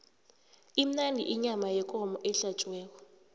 imnandi iyama yekomo ehlatjiwe